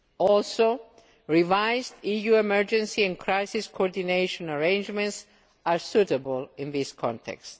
Also revised EU emergency and crisis coordination arrangements are suitable in this context.